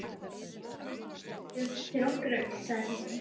Já, það er mikil guðsgjöf fyrir okkur öll, sagði Kristín.